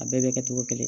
A bɛɛ bɛ kɛ togo kelen